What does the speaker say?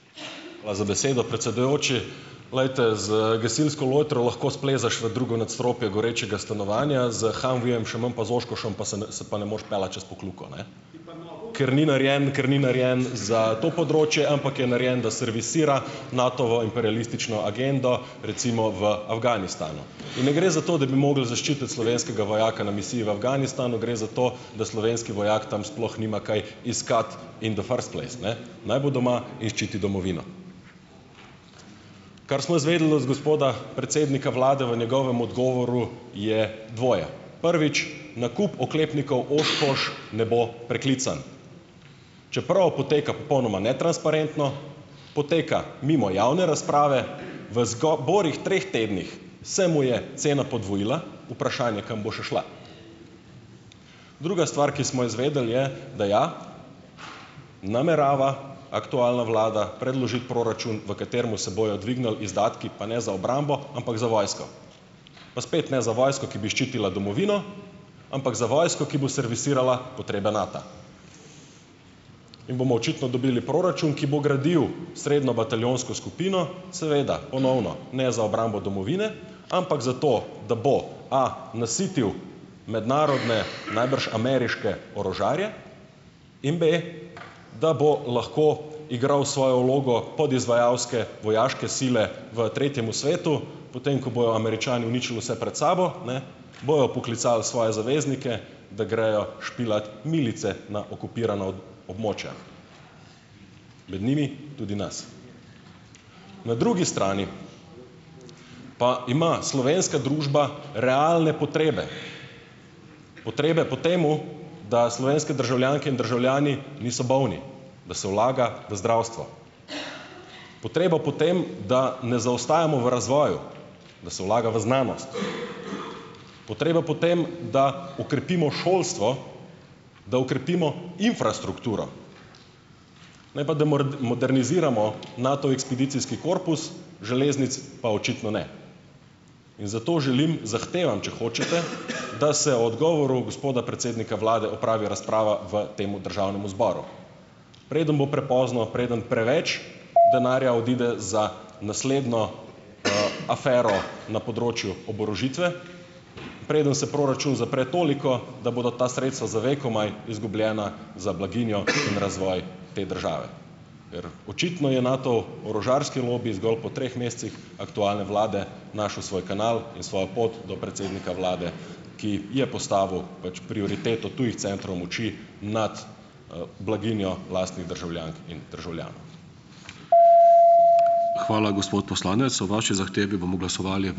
Hvala za besedo, predsedujoči. Glejte, z gasilsko lojtro lahko splezaš v drugo nadstropje gorečega stanovanja, s humvijem, še manj pa z oshkoshem pa se pa ne moreš peljati čez Pokljuko, ne, ker ni narejen, ker ni narejen za to področje, ampak je narejen, da servisira Natovo imperialistično agendo, recimo, v Afganistanu. In ne gre zato, da bi mogli zaščititi slovenskega vojaka na misiji v Afganistanu, gre za to, da slovenski vojak tam sploh nima kaj iskati in the first place, ne. Naj bo doma in ščiti domovino. Kar smo izvedeli od gospoda predsednika vlade v njegovem odgovoru je dvoje. Prvič, nakup oklepnikov Oshkosh ne bo preklican. Čeprav poteka popolnoma netransparentno, poteka mimo javne razprave. V borih treh tednih se mu je cena podvojila, vprašanje, kam bo še šla. Druga stvar, ki smo jo izvedeli, je, da ja, namerava aktualna vlada predložiti proračun, v katerem se bojo dvignili izdatki, pa ne za obrambo, ampak za vojsko. Pa spet ne za vojsko, ki bi ščitila domovino, ampak za vojsko, ki bo servisirala potrebe Nata. In bomo očitno dobili proračun, ki bo gradil srednjo bataljonsko skupino, seveda, ponovno ne za obrambo domovine, ampak zato, da bo, a, nasitil mednarodne, najbrž ameriške orožarje, in, b, da bo lahko igral svojo vlogo podizvajalske vojaške sile v tretjem svetu, potem ko bojo Američani uničili vse pred sabo, ne, bojo poklicali svoje zaveznike, da grejo špilat milice na okupirana območja. Med njimi tudi nas. Na drugi strani pa ima slovenska družba realne potrebe, potrebe po tem, da slovenske državljanke in državljani niso bolni, da se vlaga v zdravstvo. Potreba po tem, da ne zaostajamo v razvoju, da se vlaga v znanost, potrebe po tem, da okrepimo šolstvo, da okrepimo infrastrukturo, ne pa da moderniziramo Nato ekspedicijski korpus, železnic pa očitno ne. In zato želim, zahtevam, če hočete, da se o odgovoru gospoda predsednika vlade opravi razprava v tem državnem zboru, preden bo prepozno, preden preveč denarja odide za naslednjo, afero na področju oborožitve, preden se proračun zapre toliko, da bodo ta sredstva za vekomaj izgubljena za blaginjo in razvoj te države. Ker očitno je Natov orožarski lobi zgolj po treh mesecih aktualne vlade našel svoj kanal in svojo pot do predsednika vlade, ki je postavil pač prioriteto tujih centrov moči nad, blaginjo lastnih državljank in državljanov.